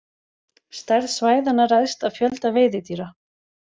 Stærð svæðanna ræðst af fjölda veiðidýra.